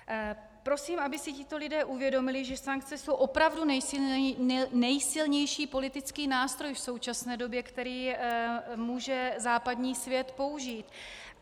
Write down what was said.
Prosím, aby si tito lidé uvědomili, že sankce jsou opravdu nejsilnější politický nástroj v současné době, který může západní svět použít.